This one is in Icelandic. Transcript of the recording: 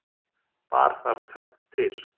Bar þar tvennt til.